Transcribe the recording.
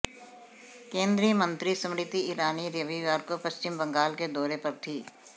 केंद्रीय मंत्री स्मृति ईरानी रविवार को पश्चिम बंगाल के दौर पर थीं